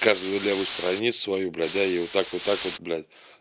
каждый левую страницу свою блядь да и вот так вот так вот блядь